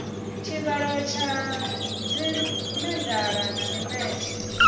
tshivhalo tsha dzimedala na mimetshe